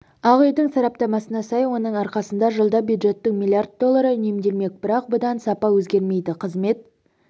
ақ үйдің сараптамасына сай оның арқасында жылда бюджеттің миллиард доллары үнемделмек бірақ бұдан сапа өзгермейді қызмет